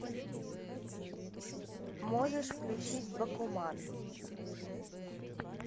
можешь включить бакуман